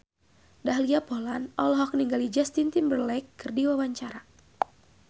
Dahlia Poland olohok ningali Justin Timberlake keur diwawancara